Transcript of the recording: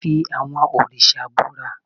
fí awọn oriṣa búra!